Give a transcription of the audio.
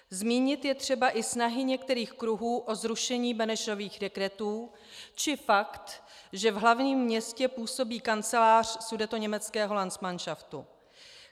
Zmínit je třeba i snahy některých kruhů o zrušení Benešových dekretů či fakt, že v hlavním městě působí kancelář sudetoněmeckého landsmanšaftu.